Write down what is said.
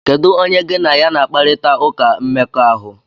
Kedu onye gị na ya na akparita ụka mmekọahụ?